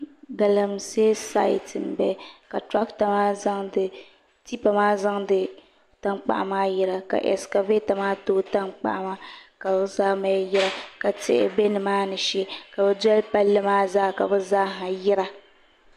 Galamsee sait n bala ka tipa maa zaŋdi tankpaɣu maa yira ka ɛskavɛta maa tooi tankpaɣu maa ka bi zaa mali yira ka tihi bɛ nimaani shee ka bin doli palli maa zaa ka bi zaaha yira